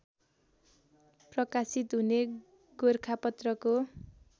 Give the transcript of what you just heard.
प्रकाशित हुने गोरखापत्रको